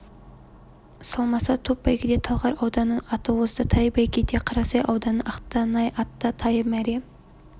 салмаса топ бәйгеде талғар ауданының аты озды тай бәйгеде қарасай ауданының ақтанай атты тайы мәре